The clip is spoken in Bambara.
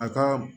A ka